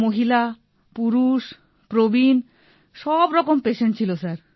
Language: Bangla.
মহিলা পুরুষ প্রবীণ সব রকম পেশেন্ট ছিল স্যার